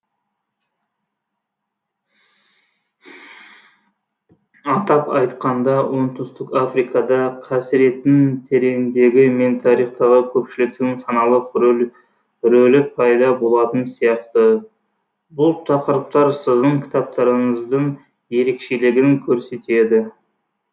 атап айтқанда оңтүстік африкада қасіреттің тереңдігі мен тарихтағы көпшіліктің саналық рөлі пайда болатын сияқты бұл тақырыптар сіздің кітаптарыңыздың ерекшелігін көрсетеді